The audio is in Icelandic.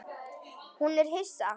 Hún er hissa.